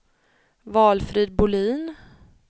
Valfrid Bolin